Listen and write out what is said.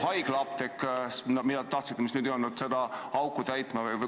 Kas siis hakkab haiglaapteek, mida te tahtsite, seda auku täitma?